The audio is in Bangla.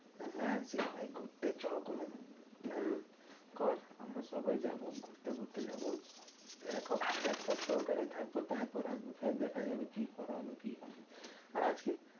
হ্যাঁ সেটাই ঘুরতে চো কোনো plan কর। আমরা সবাই যাবো ঘুরতে ফুরতে যাবো। এক এক সপ্তাহ ওখানেই থাকবো, তারপরে আসবো। সে দেখা যাবে কি করা হবে? কি না? আর আজকে